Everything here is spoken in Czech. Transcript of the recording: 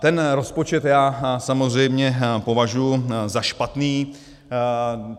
Ten rozpočet já samozřejmě považuji za špatný.